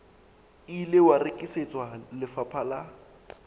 ile wa rekisetswa lefapha la